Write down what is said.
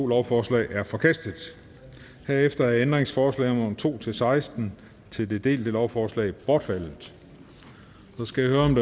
lovforslaget er forkastet herefter er ændringsforslag nummer to seksten til det delte lovforslag bortfaldet